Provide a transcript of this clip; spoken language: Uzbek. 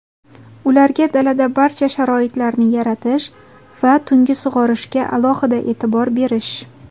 ularga dalada barcha sharoitlarni yaratish va tungi sug‘orishga alohida e’tibor berish;.